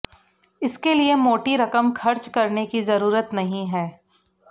इसके लिए मोटी रकम खर्च करने की जरूरत नहीं है